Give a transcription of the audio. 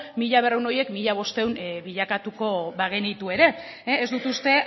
mila berrehun horiek mila bostehun bilakatuko bagenitu ere ez dut uste